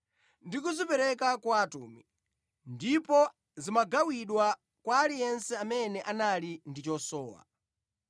ndi kuzipereka kwa atumwi, ndipo zimagawidwa kwa aliyense amene anali ndi chosowa.